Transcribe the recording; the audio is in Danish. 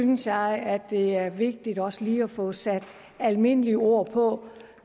synes jeg det er vigtigt også lige at få sat almindelige ord på